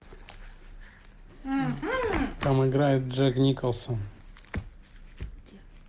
там играет джек николсон